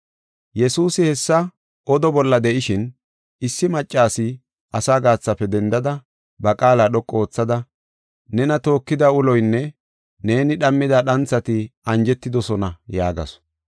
Yesuusi hessa oda bolla de7ishin, issi maccasi asaa gaathafe dendada, ba qaala dhoqu oothada, “Nena tookida uloynne neeni dhammida dhanthati anjetidosona” yaagasu.